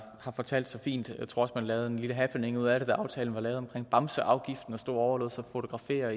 har fortalt så fint jeg tror også at man lavede en lille happening ud af det da aftalen var lavet om bamseafgiften hvor og lod sig fotografere